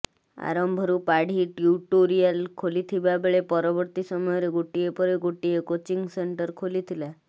ଆରମ୍ଭରୁ ପାଢ଼ୀ ଟ୍ୟୁଟୋରିଆଲ ଖୋଲିଥିବା ବେଳେ ପରବର୍ତୀ ସମୟରେ ଗୋଟିଏ ପରେ ଗୋଟିଏ କୋଚିଂ ସେଣ୍ଟର ଖୋଲିଥିଲା